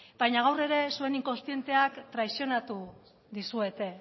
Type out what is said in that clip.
baina gaur ere zuen inkontzienteak traizionatu dizuete